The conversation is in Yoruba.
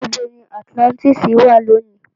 Níbo ni Atilántísì wà lónìí?